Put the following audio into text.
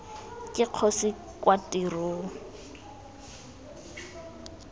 ke kgosi kwa tirong kgr